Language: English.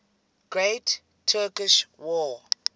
great turkish war